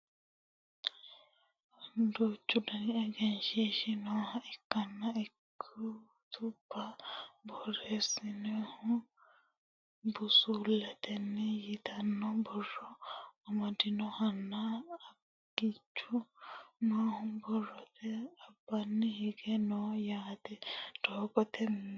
duuchu dani egenshiishshi nooha ikkanna ikkitubba borreessinannihu busulleteeti yitanno borro amadinohonna angichu noohu borrote albaanni hige no yaate doogote muleeti